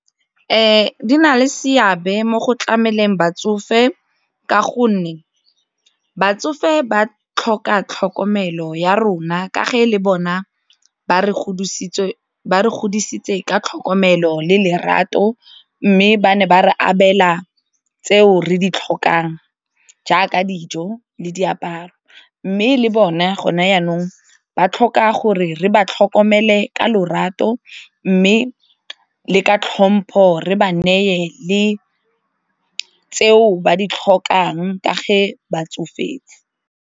Di na le seabe mo go tlameleng batsofe, ka gonne batsofe ba tlhoka tlhokomelo ya rona ka ga le bona ba re godisitse ka tlhokomelo le lerato mme ba ne ba re abela tseo re di tlhokang jaaka dijo le diaparo, mme le bone gone jaanong ba tlhoka gore re ba tlhokomele ka lorato mme le ka tlhompho re ba neye le tseo ba di tlhokang ka ga ba tsofetse.